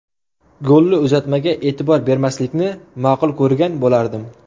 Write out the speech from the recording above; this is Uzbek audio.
Golli uzatmaga e’tibor bermaslikni ma’qul ko‘rgan bo‘lardim.